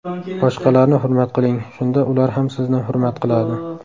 Boshqalarni hurmat qiling, shunda ular ham sizni hurmat qiladi!